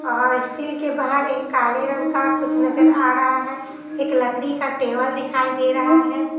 और स्टील के बाहर एक काले रंग का कुछ नजर आ रहा है एक लकड़ी का टेबल दिखाई दे रहा है।